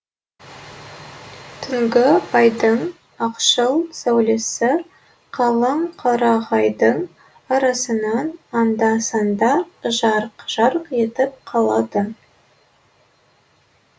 түнгі айдың ақшыл сәулесі қалың қарағайдың арасынан анда санда жарқ жарқ етіп қалады